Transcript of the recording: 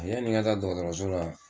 Ɛ yanni n n ga taba dɔgɔtɔrɔso la